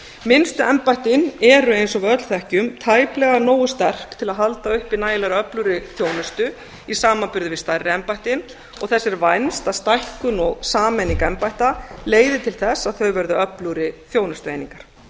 minnstu embættin eru eins og við öll þekkjum tæplega nógu sterk til að halda uppi nægilega öflugri þjónustu í samanburði við stærri embættin og þess er vænst að stækkun og sameining embætta leiði til þess að þau verði öflugri þjónustueiningar